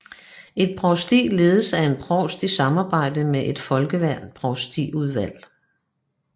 Et provsti ledes af en provst i samarbejde med et folkevalgt provstiudvalg